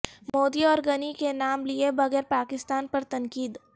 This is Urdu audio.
مودی اور غنی کی نام لیے بغیر پاکستان پر تنقید